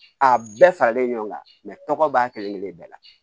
A bɛɛ faralen ɲɔgɔn kan tɔgɔ b'a kelen-kelen bɛɛ la